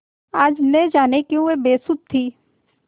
आज न जाने क्यों वह बेसुध थी